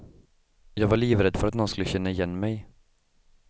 Jag var livrädd för att någon skulle känna igen mig.